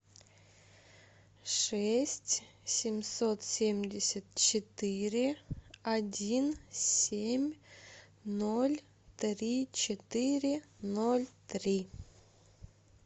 шесть семьсот семьдесят четыре один семь ноль три четыре ноль три